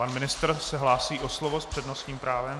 Pan ministr se hlásí o slovo s přednostním právem.